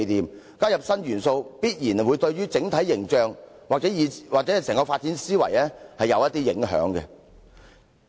如貿然加入新元素，必然會對整體形象或整個發展思維有所影響。